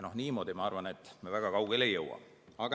Niimoodi, ma arvan, me väga kaugele ei jõua.